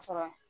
Ka sɔrɔ